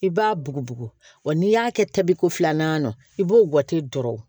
I b'a bugubugu n'i y'a kɛ tabiko filanan na i b'o gwɛte dɔrɔn